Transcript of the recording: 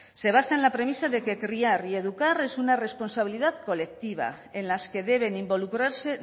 se basa en la premisa de que criar y educar es una responsabilidad colectiva en las que deben involucrarse